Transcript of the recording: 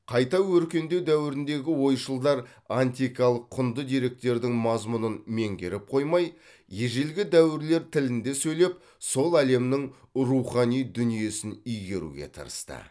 қайта өркендеу дәуіріндегі ойшылдар антикалық құнды деректердің мазмұнын меңгеріп қоймай ежелгі дәуірлер тілінде сөйлеп сол әлемнің рухани дүниесін игеруге тырысты